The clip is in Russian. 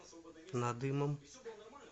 надымом